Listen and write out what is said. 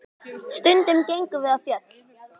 Stundum gengum við á fjöll.